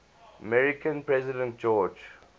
american president george